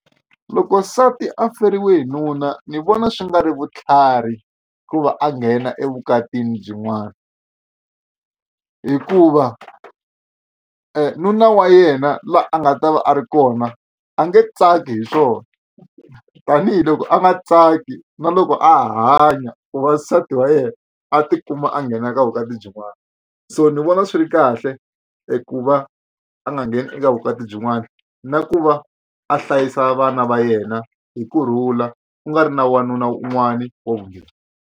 Loko nsati a feriwe hi nuna ni vona swi nga ri vutlhari ku va a nghena evukatini byin'wana hikuva nuna wa yena laha a nga ta va a ri kona a nge tsaki hi swona tanihiloko a nga tsaki na loko a hanya ku va nsati wa yena a tikuma a nghena ka vukati byin'wani so ni vona swi ri kahle i ku va a nga ngheni eka vukati byin'wana na ku va a hlayisa vana va yena hi kurhula ku nga ri na wanuna un'wana wa vumbirhi.